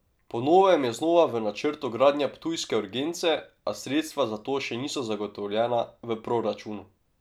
Po novem je znova v načrtu gradnja ptujske urgence, a sredstva za to še niso zagotovljena v proračunu.